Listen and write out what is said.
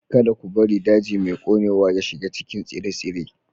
Kada ku bari daji mai ƙonewa ya shiga cikin tsire-tsire.